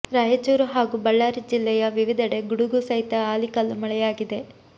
ರಾಯಚೂರು ಹಾಗೂ ಬಳ್ಳಾರಿ ಜಿಲ್ಲೆಯ ವಿವಿಧೆಡೆ ಗುಡುಗು ಸಹಿತ ಆಲಿಕಲ್ಲು ಮಳೆಯಾಗಿದೆ